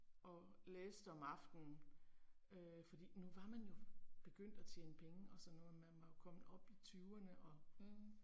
Og læste om aftenen øh fordi nu var man jo begyndt at tjene penge og sådan noget man var jo kommet op i tyverne og